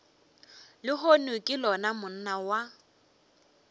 lehono ke lona monna wa